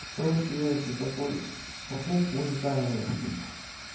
что вы уделяете это поле покупку на камеру